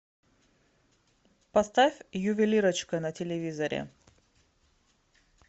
поставь ювелирочка на телевизоре